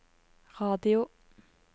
radio